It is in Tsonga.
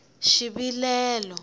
xivilelo